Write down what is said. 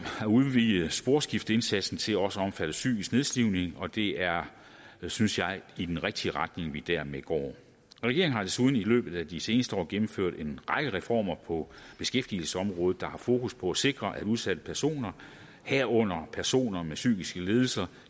at udvide sporskifteindsatsen til også at omfatte psykisk nedslidning og det er synes jeg i den rigtige retning vi dermed går regeringen har desuden i løbet af de seneste år gennemført en række reformer på beskæftigelsesområdet der har fokus på at sikre at udsatte personer herunder personer med psykisk lidelse